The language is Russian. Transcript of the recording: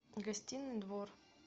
гостиный двор